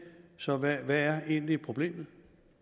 så hvad er egentlig problemet